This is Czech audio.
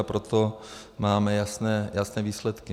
A proto máme jasné výsledky.